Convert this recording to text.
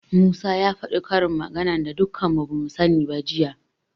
Musa ya faɗi karin maganar da dukan mu bamu sani ba jiya.